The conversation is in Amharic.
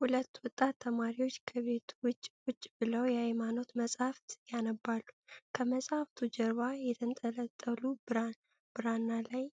ሁለት ወጣት ተማሪዎች ከቤት ውጭ ቁጭ ብለው የሃይማኖት መጻሕፍት ያነባሉ። ከመጻሕፍቱ ጀርባ የተንጠለጠሉ ብራና ላይ